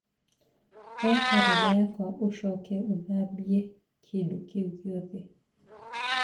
oya karenda yakwa ũcoke ũthambie kĩndũ kĩu gĩothe